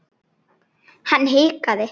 Var það strax ungur.